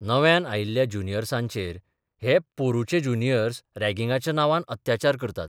नव्यान आयिल्ल्या ज्युनियसाँचेर हे मपोरूंचे ज्युनियर्सफरॅगिंगाच्या नांवान अत्याचार करतात.